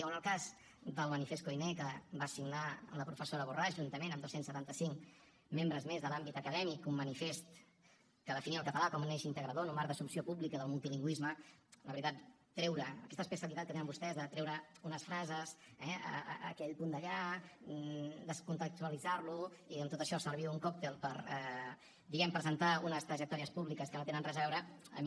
o en el cas del manifest koiné que va signar la professora borràs juntament amb dos cents i setanta cinc membres més de l’àmbit acadèmic un manifest que definia el català com un eix integrador en un marc d’assumpció pública del multilingüisme la veritat aquesta especialitat que tenen vostès de treure unes frases eh aquell punt d’allà descontextualitzar lo i amb tot això servir un còctel per diguem ne presentar unes trajectòries públiques que no tenen res a veure a mi